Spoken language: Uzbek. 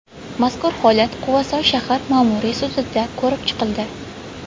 Mazkur holat Quvasoy shahar ma’muriy sudida ko‘rib chiqildi.